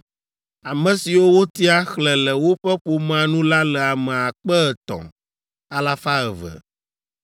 Ame siwo wotia, xlẽ le woƒe ƒomea nu la le ame akpe etɔ̃, alafa eve (3,200).